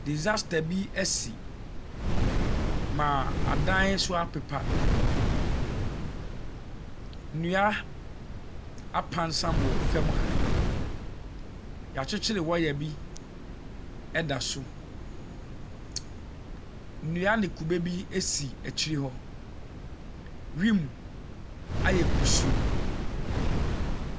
Disaster bi asi ma adan so apepa. Nnua apransam wɔ fam ha. Yɛakyekyere waya bi ɛda so. Nnua ne kube bi adi akyire hɔ. Wimu ayɛ kusuu.